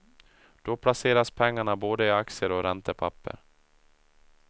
Då placeras pengarna både i aktier och räntepapper.